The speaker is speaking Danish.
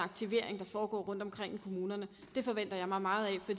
aktivering der foregår rundtomkring i kommunerne det forventer jeg mig meget af for